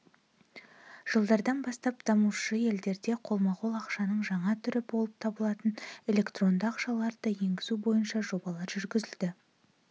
жылдардан бастап дамушы елдерде қолма-қол ақшаның жаңа түрі болып табылатын электронды ақшаларды енгізу бойынша жобалар жүргізілді